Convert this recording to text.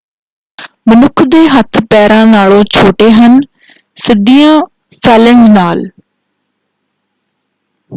ਮਨੁੱਖ ਦੇ ਹੱਥ ਪੈਰਾਂ ਨਾਲੋਂ ਛੋਟੇ ਹਨ ਸਿੱਧੀਆਂ ਫੇਲੈਂਂਜ਼ ਨਾਲ।